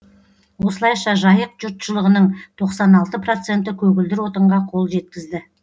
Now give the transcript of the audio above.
осылайша жайық жұртшылығының тоқсан алты проценті көгілдір отынға қол жеткізді